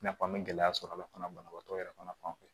I n'a fɔ an be gɛlɛya sɔrɔ a la fana banabaatɔ yɛrɛ fana fɛ